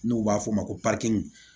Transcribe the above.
N'u b'a f'ɔ ma ko